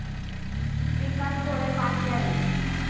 पिकास थोडे पाणी द्यावे.